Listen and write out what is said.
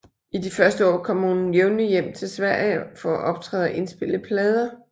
I de første år kom hun jævnligt hjem til Sverige for at optræde og indspille plader